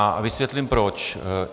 A vysvětlím proč.